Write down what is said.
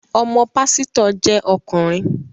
Ọmọ pásítọ̀ jẹ́ ọkùnrin